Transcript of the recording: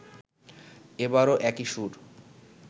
এবারও একই সুর